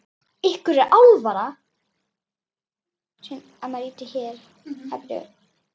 Ykkur er ekki alvara!